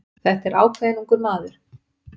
Þetta er ákveðinn ungur maður